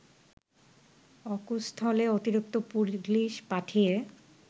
অকুস্থলে অতিরিক্ত পুলিশ পাঠিয়ে